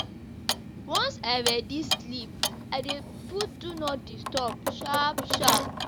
Once I ready sleep, I dey put “Do Not Disturb” sharp sharp.